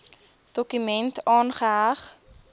dokument aangeheg